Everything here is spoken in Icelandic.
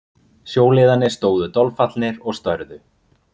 Sjóliðarnir stóðu dolfallnir og störðu.